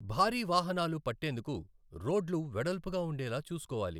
భారీ వాహనాలు పట్టేందుకు రోడ్లు వెడల్పుగా ఉండేలా చూసుకోవాలి.